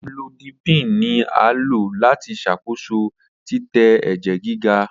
Amlodipine ni a lo lati ṣakoso titẹ ẹjẹ giga.